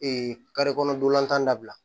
kɔnɔdonlantan dabila